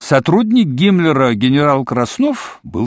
сотрудник гиммлера генерал краснов был